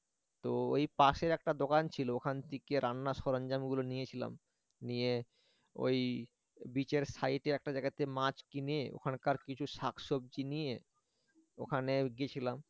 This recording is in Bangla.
তো ওই পাশে একটা দোকান ছিল ওখান থেকে রান্নার সরঞ্জাম ওগুলো নিয়েছিলাম নিয়ে ওই beach র সাইডে একটা জায়গাতে মাছ কিনে ওখানকার কিছু শাকসবজি নিয়ে ওখানে গেছিলাম